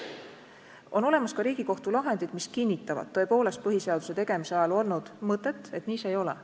On olemas ka Riigikohtu lahendid, mis kinnitavad tõepoolest põhiseaduse tegemise ajal olnud mõtet, et nii see ei ole.